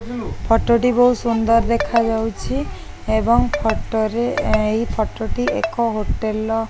ଫଟ ଟି ବୋହୁତ୍ ସୁନ୍ଦର୍ ଦେଖାଯାଉଛି ଏବଂ ଫଟ ରେ ଏଇ ଫଟ ଟି ଏକ ହୋଟେଲ ର--